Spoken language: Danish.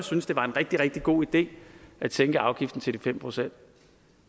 synes det var en rigtig rigtig god idé at sænke afgiften til de fem procent